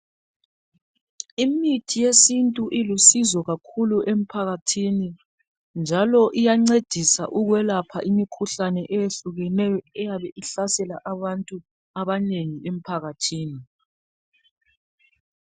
Imithi yesintu ilusizo kakhulu emphakathini, njalo iyancedisa ukwelapha imikhuhlane eyehlukeneyo eyabe ihlasela abantu abanengi emphakathini.